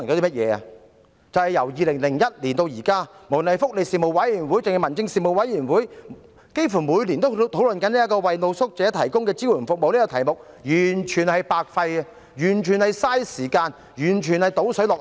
即是由2001年至今，不論是福利事務委員會或民政事務委員會，幾乎每年都會討論有關為露宿者提供支援服務的議題，卻完全是白費氣力，完全是浪費時間，完全是"倒水落海"。